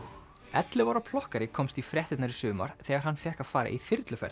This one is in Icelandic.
ellefu ára komst í fréttirnar í sumar þegar hann fékk að fara í